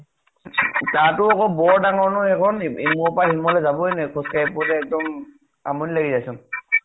তাৰ তো আকৌ বৰ ডাঙৰ নহয় সেইখন ইমুৰ ৰ পৰা সিমুৰলৈ যাবয়ে নোৱাৰি খোজ কাঢ়ি ফুৰোতে আমনি লাগি গৈছে